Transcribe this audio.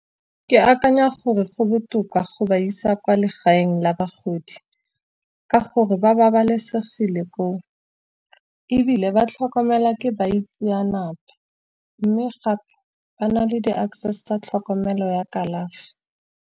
Ke akanya gore go botoka go ba isa kwa legaeng la bagodi, ka gore ba babalesegile koo. Ebile ba tlhokomelwa ke baitsanape, mme gape ba na le di-access tsa tlhokomelo ya kalafi.